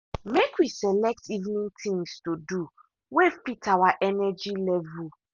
make we select evening things to do way fit our energy level.